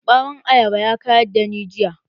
Bawon ayaba ya ka da ni jiya.